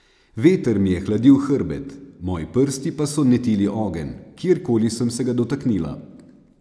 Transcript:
Veter mi je hladil hrbet, moji prsti pa so netili ogenj, kjerkoli sem se ga dotaknila.